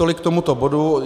Tolik k tomuto botu.